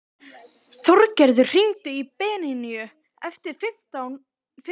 Þorgerður, hringdu í Bedínu eftir fimmtíu og sex mínútur.